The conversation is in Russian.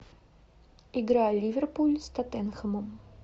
игра ливерпуль с тоттенхэмом